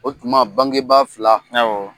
O tuma bangebaa fila